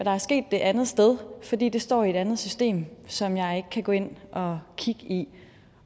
er sket det andet sted fordi det står i et andet system som jeg kan gå ind og kigge i